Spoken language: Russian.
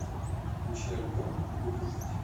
включи альбом буду жить